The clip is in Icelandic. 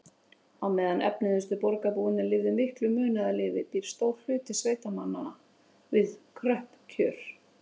Á meðan efnuðustu borgarbúarnir lifa miklu munaðarlífi býr stór hluti sveitamanna við kröpp kjör.